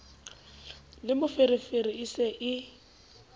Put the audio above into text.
le moferefere e se e